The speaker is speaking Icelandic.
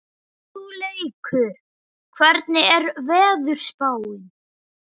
Hugleikur, hvernig er veðurspáin?